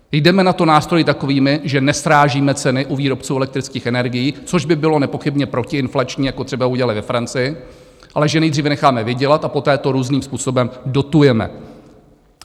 Jdeme na to nástroji takovými, že nesrážíme ceny u výrobců elektrických energií, což by bylo nepochybně protiinflační, jako třeba udělali ve Francii, ale že nejdříve necháme vydělat a poté to různým způsobem dotujeme.